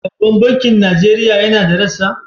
Babban bankin Nigeria yana da rassa?